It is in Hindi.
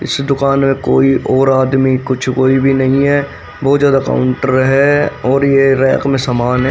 इस दुकान में कोई और आदमी कुछ कोई भी नहीं है बहुत ज्यादा काउंटर है और ये रैक में सामान है ।